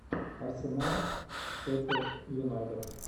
арсенал шеффилд юнайтед